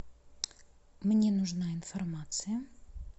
мне нужна информация